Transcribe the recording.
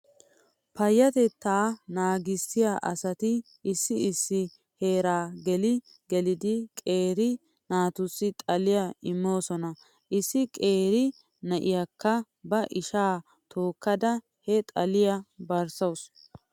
Payatettaa naagissiyaa asati issi issi heeraa gele geleidi qeeri naatussi xaliyaa imoosona. Issi qeeri na'iyaakka ba ishaa tookkada he xaliyaa barsaasu.